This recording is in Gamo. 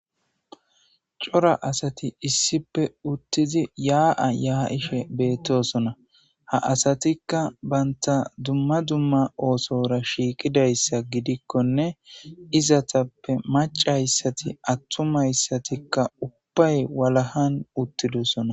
Cora asati issippe uttidi ya'a ya'ishe beettosona. Ha asatikka banta dumma dumma oosora shiiqidayssa gidikkonne izetappe maccayssati attumayssatikka ubbay walahan uttidosona.